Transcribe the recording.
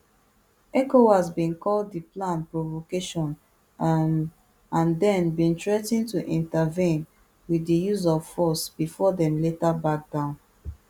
ecowas bin call di plan provocation um and dem bin threa ten to intervene wit di use of force bifor dem later back down